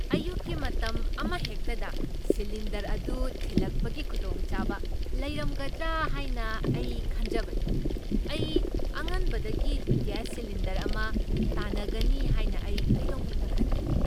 ꯑꯌꯨꯛꯀꯤ ꯃꯇꯝ ꯑꯃꯍꯦꯛꯇꯗ ꯁꯤꯂꯤꯟꯗꯔ ꯑꯗꯨ ꯊꯤꯟꯂꯛꯄꯒꯤ ꯈꯨꯗꯣꯡꯆꯥꯕ ꯂꯩꯔꯝꯒꯗꯔꯥ ꯍꯥꯏꯅ ꯑꯩ ꯈꯟꯖꯕꯅꯤ ꯫ ꯑꯩ ꯑꯉꯟꯕꯗꯒꯤ ꯒꯦꯁ ꯁꯤꯂꯤꯟꯗꯔ ꯑꯃ ꯇꯥꯅꯒꯅꯤ ꯍꯥꯏꯅ ꯑꯩ ꯀꯩꯗꯧꯅꯨꯡꯗ ꯈꯟꯈꯤꯗꯦ ꯫